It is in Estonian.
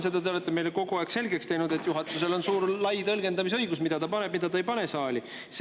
Seda te teete meile kogu aeg selgeks, et juhatusel on lai tõlgendamisõigus, mida ta paneb, mida ta ei pane.